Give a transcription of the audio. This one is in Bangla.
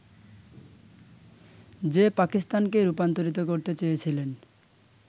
যে পাকিস্তানকে রূপান্তরিত করতে চেয়েছিলেন